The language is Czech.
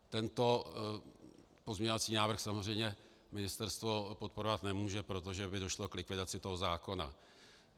Tento pozměňovací návrh samozřejmě ministerstvo podporovat nemůže, protože by došlo k likvidaci toho zákona.